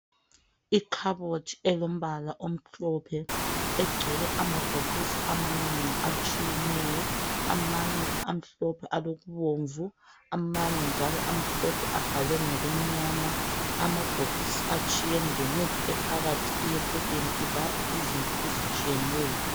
Ikhabothi elombala omhlophe egcwele amabhokisi amanengi atshiyeneyo amanye amhlophe alokubomvu amanye njalo amhlophe abhalwe ngokumnyama .Amabhokisi atshiyene lemithi ephakathi iyehlukene yelapha izinto ezitshiyeneyo